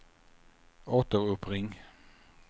återuppring